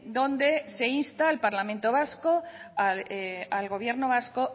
donde se insta el parlamento vasco al gobierno vasco